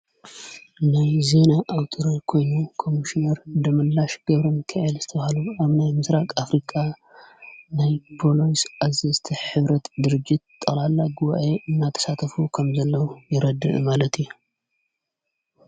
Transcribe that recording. ናይ ዜና ኣውተረ ኮይኑ ኸሚሽነር ድመላሽ ገብረ ምከኤል ዝተውሃሉ ኣብ ናይ ምሥራቕ ኣፍሪቃ ናይጶሎስ ዓዝ ዝተ ኅብረት ድርጅት ጠልላ ግዋኤ እናተሳተፉ ኸም ዘለዉ ይረድዒ ማለት እዩ::